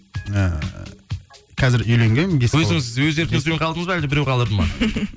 ііі қазір үйленгенмін бес бала өзіңіз өз еркіңізбен қалдыңыз ба әлде біреу қалдырды ма